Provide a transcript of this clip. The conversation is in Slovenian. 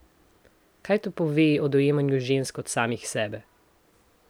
Kaj to pove o dojemanju žensk kot samih sebe?